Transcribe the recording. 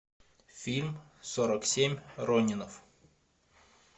фильм сорок семь ронинов